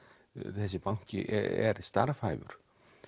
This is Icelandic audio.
þessi banki er starfhæfur